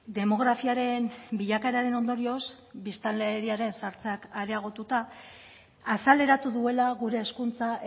demografiaren bilakaeraren ondorioz biztanleriaren zahartzeak areagotuta azaleratu duela gure hezkuntza